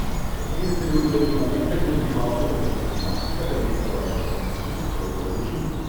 имеется ли у тебя кинолента где снимался энтони маки которая называется каникулы строгого режима